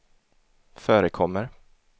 förekommer